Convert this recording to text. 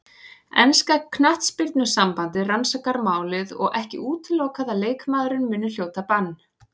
Enska knattspyrnusambandið rannsakar málið og ekki útilokað að leikmaðurinn muni hljóta bann.